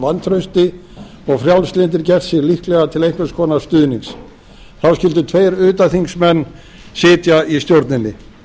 vantrausti og frjálslyndir gert sig líklega til einhvers konar stuðnings þá skyldu tveir utanþingsmenn sitja í stjórninni